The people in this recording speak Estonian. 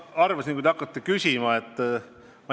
Ma arvasin, kui te hakkate küsima Via Baltica kohta.